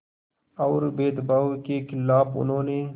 और भेदभाव के ख़िलाफ़ उन्होंने